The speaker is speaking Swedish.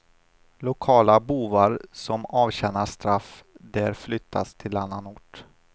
Lokala bovar som avtjänar straff där flyttas till annan ort.